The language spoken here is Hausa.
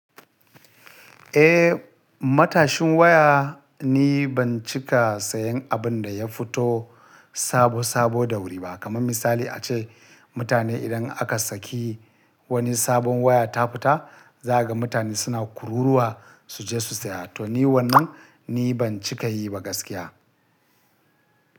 Eh, matashin waya ni ban cika sayen abin da ya fito sabo sabo da wuri ba. Kaman misali ace mutane idan aka saki wani sabon waya ta fita, za ka ga mutane suna kururuwa su je su saya. To ni wannan ni ban cika yi ba gaskiya.